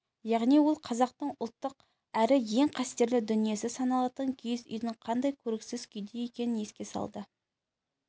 яғни ол қазақтың ұлттық әрі ең қастерлі дүниесі саналатын киіз үйдің қандай көріксіз күйде екенін еске салды